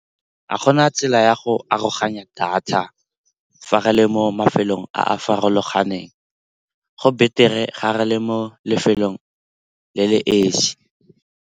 Ga gona tsela ya go aroganya data fa re le mo mafelong a a farologaneng, go beter-e ga re le mo lefelong le le esi.